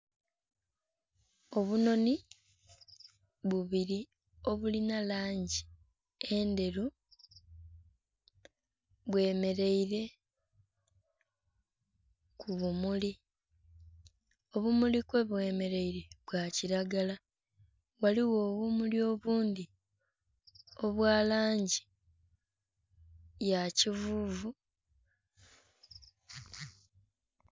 Obunhonhi bubiri obulina langi endheru, bwe mereeire ku bumuli, obumuli kwe bwe mereeire bwa kilagala ghaligho obumuli obundhi obwa langi ya kivuvu.